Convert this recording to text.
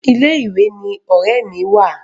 Ilé ìwé ni ọ̀rẹ́ mi wà.